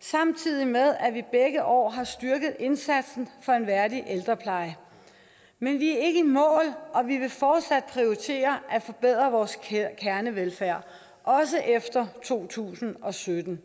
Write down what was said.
samtidig med at vi begge år har styrket indsatsen for en værdig ældrepleje men vi er ikke i mål og vi vil fortsat prioritere at forbedre vores kernevelfærd også efter to tusind og sytten